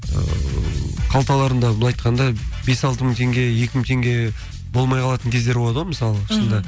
ыыы қалталарында былай айтқанда бес алты мың теңге екі мың теңге болмай қалатын кездер болады ғой мысалға шынында мхм